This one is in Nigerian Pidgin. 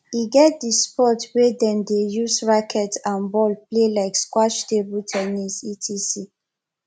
e get di sports wey dem de use racket and ball play like squash table ten nis etc